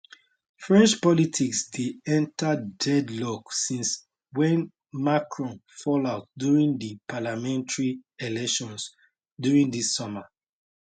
french politics dey enta deadlock since wen macron fallout during di parliamentary elections during dis summer